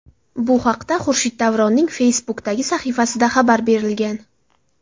Bu haqda Xurshid Davronning Facebook’dagi sahifasida xabar berilgan .